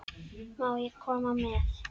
Má ég koma með?